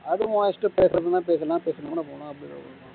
அதுவும் உன் இஷ்டம் பேசுறதுன்னா பேசலாம்